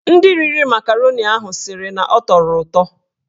Ndị riri makaroni ahụ sịrị na ọ tọrọ ụtọ.